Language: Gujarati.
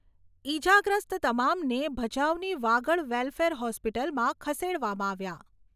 ઈજાગ્રસ્ત તમામને ભચાઉની વાગડ વેલફેર હોસ્પિટલમાં ખસેડવામાં આવ્યા